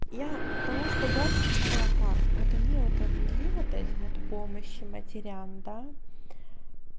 я потому что я считала как вот они вот ввели вот эти вот помощи матерям да